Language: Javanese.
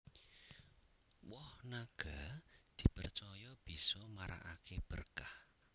Woh naga dipercaya bisa marakaké berkah